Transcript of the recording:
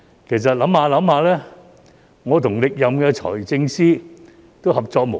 其實回想一下，我與歷任財政司司長都合作無間。